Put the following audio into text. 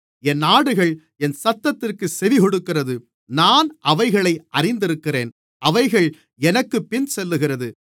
என் ஆடுகள் என் சத்தத்திற்குச் செவிகொடுக்கிறது நான் அவைகளை அறிந்திருக்கிறேன் அவைகள் எனக்குப்பின் செல்லுகிறது